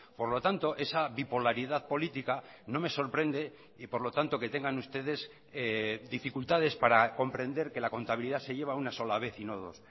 por lo tanto esa bipolaridad política no me sorprende y por lo tanto que tengan ustedes dificultades para comprender que la contabilidad se lleva una sola vez y no dos